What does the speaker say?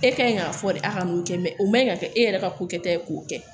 E ka ɲi k'a fɔ de a ka n'o kɛ mɛ o man ɲi ka kɛ e yɛrɛ ka ko kɛta ye k'o kɛ